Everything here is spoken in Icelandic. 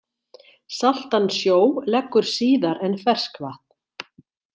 Saltan sjó leggur síðar en ferskvatn.